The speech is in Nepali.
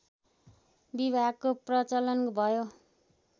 विवाहको प्रचलन भयो